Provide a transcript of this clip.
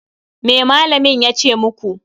Me malamin ya ce muku?